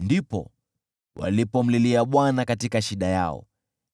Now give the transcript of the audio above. Ndipo walipomlilia Bwana katika shida yao,